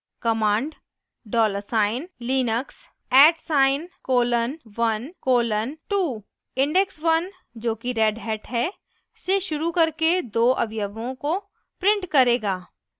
command ${linux @: 1:2} index one जो कि Red Hat है से शुरू करके दो अवयवों को print करेगा